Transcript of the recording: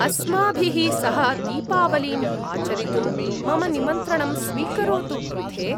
अस्माभिः सह दीपावलीम् आचरितुं मम निमन्त्रणं स्वीकरोतु पृथे!